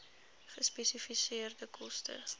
gespesifiseerde koste